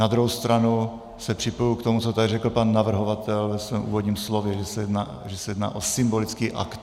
Na druhou stranu se připojuji k tomu, co tady řekl pan navrhovatel ve svém úvodním slově, že se jedná o symbolický akt.